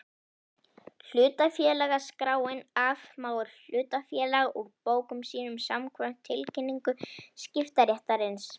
Hlutafélagaskráin afmáir hlutafélag úr bókum sínum samkvæmt tilkynningu skiptaréttarins.